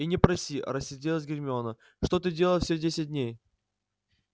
и не проси рассердилась гермиона что ты делал все десять дней